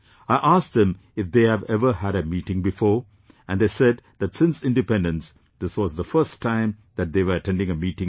I asked them if they have ever had a meeting before, and they said that since Independence, this was the first time that they were attending a meeting like this